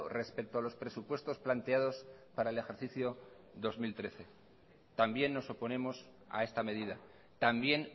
respecto a los presupuestos planteados para el ejercicio dos mil trece también nos oponemos a esta medida también